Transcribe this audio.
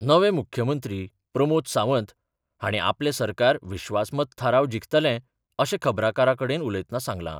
नवे मुख्यमंत्री प्रमोद सावंत हांणी आपले सरकार विश्वास मत थाराव जिखतलें अशें खबराकारा कडेन उलयतना सांगलां.